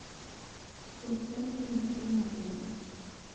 Puoth cham miyo ji chiemo maber